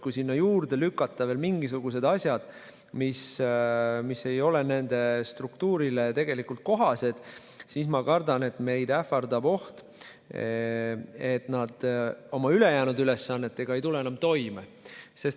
Kui sinna juurde lükata veel mingisugused asjad, mis ei ole Finantsinspektsiooni struktuurile tegelikult kohased, siis ma kardan, et meid ähvardab oht, et inspektsioon ei tule oma ülejäänud ülesannetega enam toime.